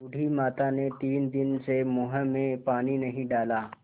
बूढ़ी माता ने तीन दिन से मुँह में पानी नहीं डाला